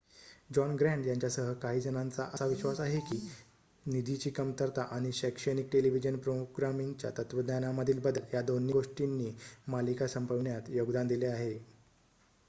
John Grant यांच्यासह काही जणांचा असा विश्वास आहे की निधीची कमतरता आणि शैक्षणिक टेलिव्हिजन प्रोग्रामिंगच्या तत्त्वज्ञानामधील बदल या दोन्ही गोष्टींनी मालिका संपविण्यात योगदान दिले आहे